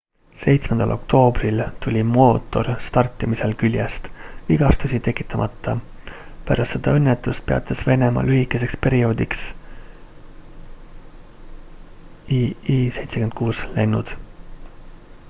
7 oktoobril tuli mootor startimisel küljest vigastusi tekitamata pärast seda õnnetust peatas venemaa lühikeseks perioodiks il-76 lennud